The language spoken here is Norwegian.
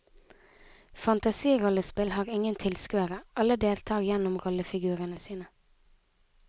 Fantasirollespill har ingen tilskuere, alle deltar gjennom rollefigurene sine.